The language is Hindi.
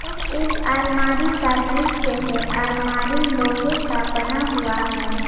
यह एक आलमारी का दृश्य है आलमारी लोहे का बना हुआ है।